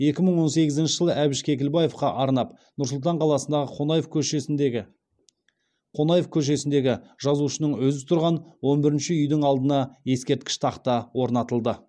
екі мың он сегізінші жылы әбіш кекілбаевқа арнап нұр сұлтан қаласындағы қонаев көшесіндегі қонаев көшесіндегі жазушының өзі тұрған он бірінші үйдің алдына ескерткіш тақта орнатылды